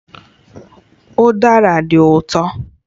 Udara dị ụtọ